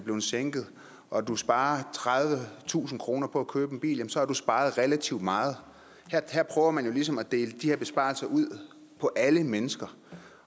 blevet sænket og du sparer tredivetusind kroner på at købe en bil så har du sparet relativt meget her prøver man jo ligesom at dele de her besparelser ud på alle mennesker